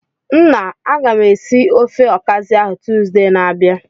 Nna, agam esi ofe Okazi ahu Tuzdee na-abia.